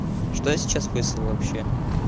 что я сейчас выслал вообще